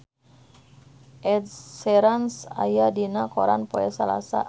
Ed Sheeran aya dina koran poe Salasa